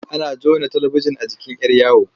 Ana jona talibijin a jikin 'yar yawo.